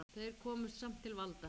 Þeir komust samt til valda.